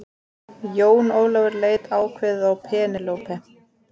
Jón Ólafur leit ákveðið á Penélope.